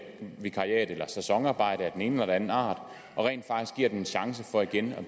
eller sæsonarbejde af den ene eller anden art og rent faktisk giver dem en chance for igen